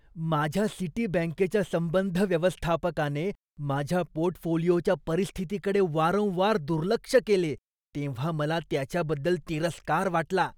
माझ्या सिटीबँकेच्या संबंध व्यवस्थापकाने माझ्या पोर्टफोलिओच्या परिस्थितीकडे वारंवार दुर्लक्ष केले तेव्हा मला त्याच्याबद्दल तिरस्कार वाटला.